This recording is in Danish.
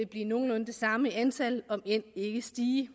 blive nogenlunde det samme i antal om end ikke stige